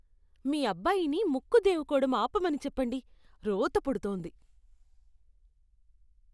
మీ అబ్బాయిని ముక్కు దేవుకోవటం ఆపమని చెప్పండి. రోత పుడుతోంది.